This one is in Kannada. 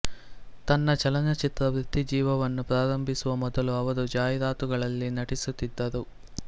ತನ್ನ ಚಲನಚಿತ್ರ ವೃತ್ತಿಜೀವನವನ್ನು ಪ್ರಾರಂಭಿಸುವ ಮೊದಲು ಅವರು ಜಾಹೀರಾತುಗಳಲ್ಲಿ ನಟಿಸುತ್ತಿದ್ದರು